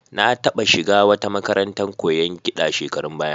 Na taɓa shiga wata makarantar koyon kiɗa shekarun baya